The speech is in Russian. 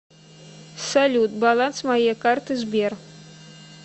салют баланс моей карты сбер